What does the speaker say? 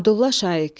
Abdulla Şaiq.